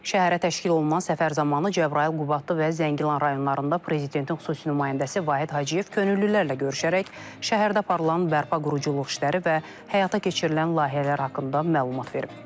Şəhərə təşkil olunan səfər zamanı Cəbrayıl, Qubadlı və Zəngilan rayonlarında prezidentin xüsusi nümayəndəsi Vahid Hacıyev könüllülərlə görüşərək şəhərdə aparılan bərpa quruculuq işləri və həyata keçirilən layihələr haqqında məlumat verib.